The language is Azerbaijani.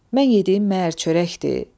Mən yediyim nə əcəb çörəkdir.